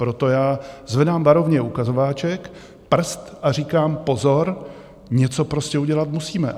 Proto já zvedám varovně ukazováček, prst, a říkám pozor, něco prostě udělat musíme.